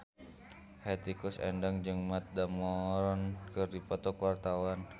Hetty Koes Endang jeung Matt Damon keur dipoto ku wartawan